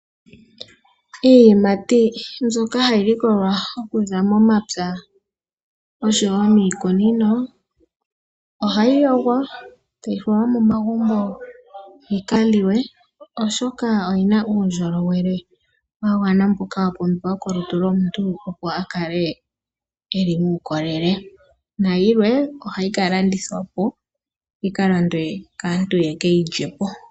Iiyimati mbyoka hayi likolwa okuza momapya noshowo miikunino ohayi yogwa e tayi falwa momagumbo yi ka liwe, oshoka oyi na uundjolowele wa gwana mboka wa pumbiwa molutu lwomuntu, opo a kale ye li muukolele. Nayilwe ohayi ka landithwa po, yi ka landwe kaantu ye ke yi lye po.